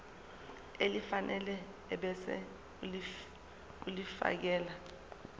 elifanele ebese ulifiakela